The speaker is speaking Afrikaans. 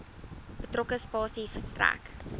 betrokke spasie verstrek